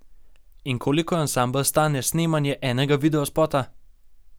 In koliko ansambel stane snemanje enega videospota?